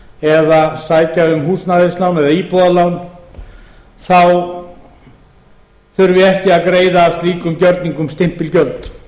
eða sækja um húsnæðislán eða íbúðalán þá þurfi ekki að greiða af slíkum gjörningum stimpilgjöld